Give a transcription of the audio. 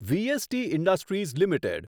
VST industries limited